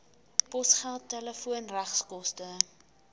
posgeld telefoon regskoste